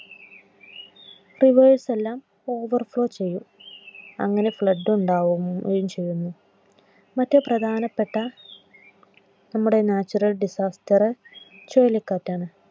reverse ല്ലാം overflow ചെയ്യും. അങ്ങനെ Flood ഉണ്ടാവുകയും ചെയ്യുന്നു. മറ്റു പ്രധാനപ്പെട്ട നമ്മുടെ natural disaster ചുഴലിക്കാറ്റ് ആണ്